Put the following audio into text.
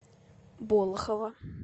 болохово